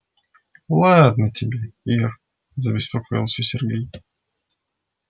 ладно тебе ир забеспокоился сергей